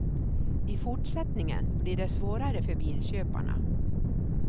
I fortsättningen blir det svårare för bilköparna.